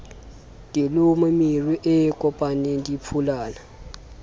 dilomo meru e kopaneng diphulana